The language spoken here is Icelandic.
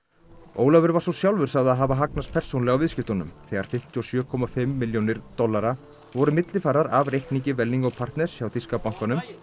Ólafur var svo sjálfur sagður hafa hagnast persónulega á viðskiptunum þegar fimmtíu og sjö komma fimm milljónir dollara voru millifærðar af reikningi Welling og partners hjá þýska bankanum